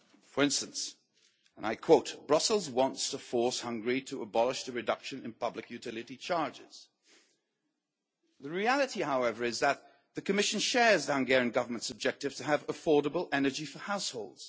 For instance, and I quote Brussels wants to force Hungary to abolish the reduction in public utility charges'. The reality, however, is that the Commission shares the Hungarian Government's objective to have affordable energy for households.